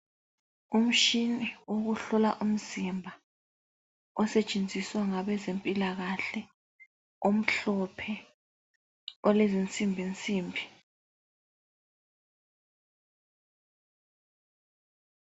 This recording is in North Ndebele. Umshina wokuhlola umzimba osetshenziswa ngabezempilakahle umhlophe ulezinsimbinsimbi.